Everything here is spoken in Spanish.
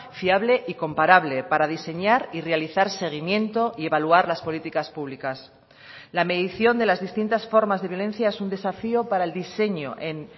fiable y comparable para diseñar y realizar seguimiento y evaluar las políticas públicas la medición de las distintas formas de violencia es un desafío para el diseño en